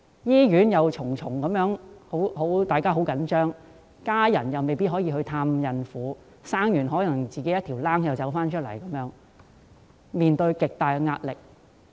醫院的氣氛緊張，在她們生產後，家人亦未必可以到醫院探望，甚至有可能要自行出院，致令她們面對極大壓力。